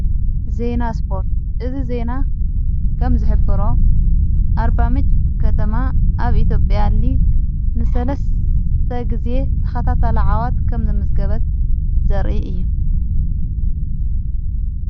ዘይና ስጶርት እዝ ዜይና ከም ዝኅብሮ ኣርባምንጭ ከተማ ኣብ ኢትዮጵያ ሊግ ንሠለስተ ጊዜ ተኻታት ዓወት ከም ዘመዘገበት ዘር እየ።